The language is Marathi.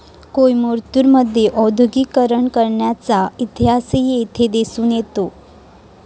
कोईमतूर मध्ये औद्योगीकरणाचा इतिहासही येथे दिसून येतो